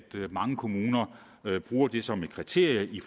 mange kommuner bruger det som et kriterium i